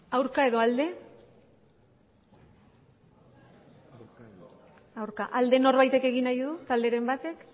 aurka edo alde aurka alde norbaitek egin nahi du talderen batek